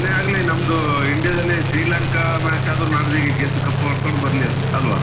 ಏನೆ ಆಗ್ಲಿ ನಮ್ದು India ದಲ್ಲಿ ಶ್ರೀಲಂಕಾ match ಆದ್ರು ನಾಳ್ದಿಗೆ ಗೆದ್ದು cup ಹೊಡ್ಕೊಂಡು ಬರ್ಲಿ ಅಲ್ವಾ?